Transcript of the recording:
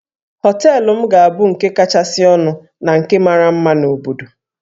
Hóteélụ̀ m ga-abụ nke kachasị ọnụ na nke mara mma na obodo